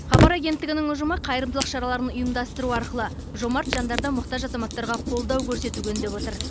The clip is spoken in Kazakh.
хабар агенттігінің ұжымы қайырымдылық шараларын ұйымдастыру арқылы жомарт жандарды мұқтаж азаматтарға қолдау көрсетуге үндеп отыр